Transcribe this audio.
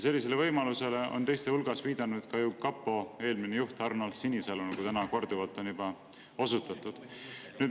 Sellisele võimalusele on teiste hulgas viidanud ka kapo eelmine juht Arnold Sinisalu, nagu täna on korduvalt juba osutatud.